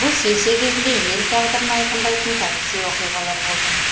бұл сессия кезінде ел тағдырын айқындайтын тарихи оқиғалар болды